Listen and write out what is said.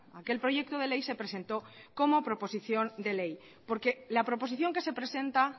aquel proyecto de ley se presentó como proposición de ley porque la proposición que se presenta